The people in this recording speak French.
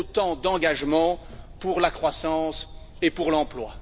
Autant d'engagements pour la croissance et pour l'emploi.